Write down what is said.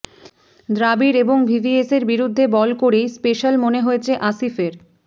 দ্রাবিড় এবং ভিভিএসের বিরুদ্ধে বল করেই স্পেশাল মনে হয়েছে আসিফের